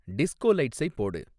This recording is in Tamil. டிஸ்கோ லைட்ஸை போடு